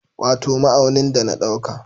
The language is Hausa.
Wato ma'aunin da na dauka